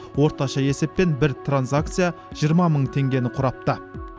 орташа есеппен бір транзакция жиырма мың теңгені құрапты